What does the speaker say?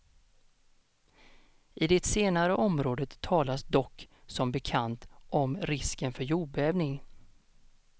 I det senare området talas dock, som bekant, om risken för jordbävning.